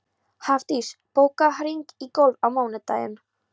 Hafdís, bókaðu hring í golf á mánudaginn.